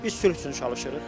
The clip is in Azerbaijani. Biz sülh üçün çalışırıq.